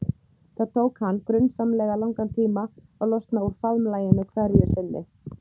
Það tók hann grunsamlega langan tíma að losna úr faðmlaginu hverju sinni.